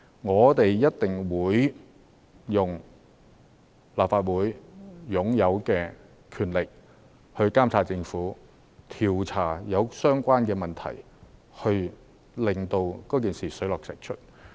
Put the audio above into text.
我們一定會用立法會擁有的權力來監察政府，調查相關的問題，令事情水落石出。